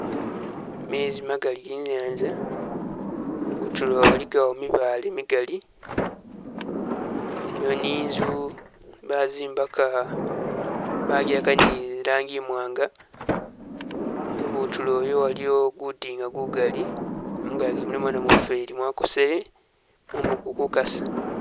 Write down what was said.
Mezi magali ge i'nyanza kutulo waligawo mibale migali, iliwo ninzu bazimbaka bajihaka ni i'langi imwanga, ibutululo iyo waliwo gutinga gugali, mungagi mulimo namufweli wakosele, mumu guli kukasa.